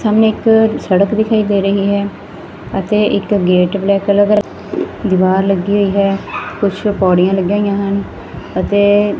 ਸਾਹਮਣੇ ਇੱਕ ਸੜਕ ਦਿਖਾਈ ਦੇ ਰਹੀ ਹੈ ਅਤੇ ਇੱਕ ਗੇਟ ਬਲੈਕ ਕਲਰ ਦੀਵਾਰ ਲੱਗੀ ਹੋਈ ਹੈ ਕੁਛ ਪੌੜੀਆਂ ਲੱਗੀਆਂ ਹੋਈਆਂ ਹਨ ਅਤੇ--